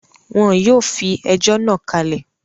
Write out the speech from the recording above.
Wọ́n yóò fi ẹjọ́ náà kalẹ̀